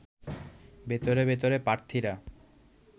ভেতরে ভেতরে প্রার্থীরা